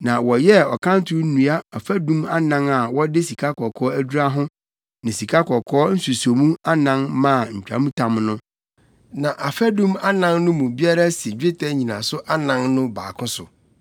Na wɔyɛɛ ɔkanto nnua afadum anan a wɔde sikakɔkɔɔ adura ho ne sikakɔkɔɔ nsusomu anan maa ntwamtam no. Na afadum anan no mu biara si dwetɛ nnyinaso anan no baako so.